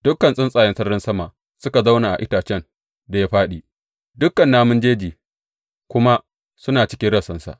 Dukan tsuntsaye sararin sama suka zauna a itacen da ya fāɗi, dukan namun jeji kuma suna cikin rassansa.